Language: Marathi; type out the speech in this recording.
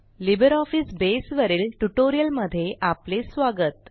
लिब्रिऑफिस बसे वरील ट्युटोरियल मध्ये आपले स्वागत